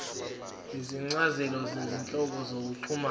izincazelo zezinhlobo zokuxhumana